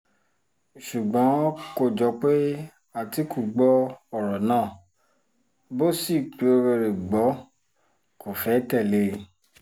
ṣùgbọ́n kò jọ pé àtìkù gbọ́ ọ̀rọ̀ náà bó sì gbọ́ kó fẹ́ẹ́ tẹ̀lé e